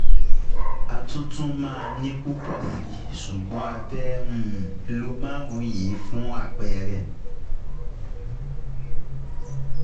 A tún tún màa ní pùpọ̀ síi ṣùgbọ́n a um fẹ́ um lo márùn-ún yìí fún àpẹẹrẹ